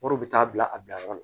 Wariw bɛ taa bila a bilayɔrɔ la